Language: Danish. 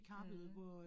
Mh